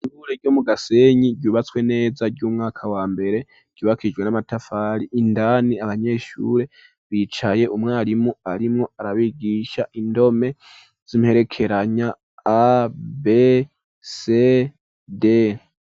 ishure ryo mu gasenyi ryubatswe neza ry'umwaka w,ambere ryubakiishijwe n'amatafari indani abanyeshure bicaye umwarimu arimwo arabigisha indome z,imperekeranya: a; b; c; d.